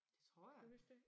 Det tror jeg